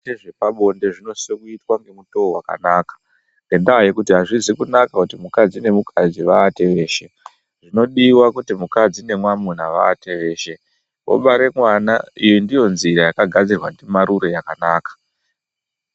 Zviito zvepabonde zvonosisa kuitwa nemutoo wakanaka ngenda yekuti hazvizi kunaka kuti mukadzi nemukadzi wawate weshe asi kuti mukadzi nemwamuna wawate weshe wobare mwana iyi ndiyo nzira yakagadzirwa nemarure yakanaka.